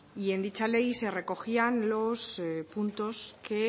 y en dicha ley se recogían los puntos que